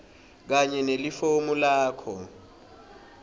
kanye nelifomu lakho